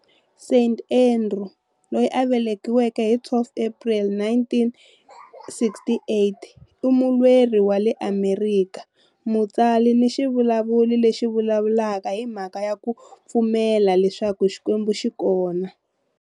Seth Andrews, loyi a velekiweke hi April 12, 1968, i mulweri wa le Amerika, mutsari ni xivulavuri lexi vulavulaka hi mhaka ya ku pfumela leswaku Xikwembu xi kona.